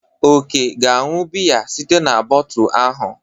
Ọke ga-aṅụ biya site n'botu ahụ.